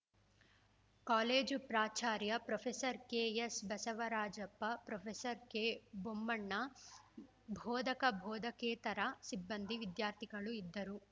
college ಪ್ರಾಚಾರ್ಯ professor K S Basavarajappa professor K Bommanna ಬೋಧಕಬೋಧಕೇತರ ಸಿಬ್ಬಂದಿ ವಿದ್ಯಾರ್ಥಿಗಳು ಇದ್ದರು